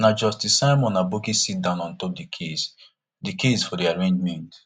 na justice simon aboki sitdown ontop di case di case for di arraignment